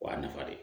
O y'a nafa de ye